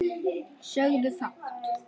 Sögðu fátt.